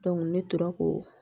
ne tora ko